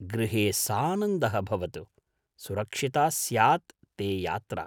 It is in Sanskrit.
गृहे सानन्दः भवतु, सुरक्षिता स्यात् ते यात्रा।